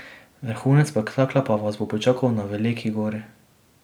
Vrhunec spektakla pa vas bo pričakal na Veliki Gori.